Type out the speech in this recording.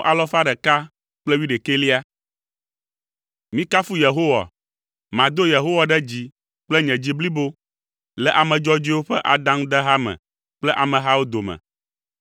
Mikafu Yehowa. Mado Yehowa ɖe dzi kple nye dzi blibo le ame dzɔdzɔewo ƒe adaŋudeha me kple amehawo dome.